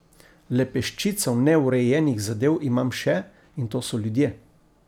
Le peščico neurejenih zadev imam še, in to so ljudje.